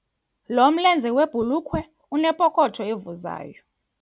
Lo mlenze webhulukhwe unepokotho evuzayo.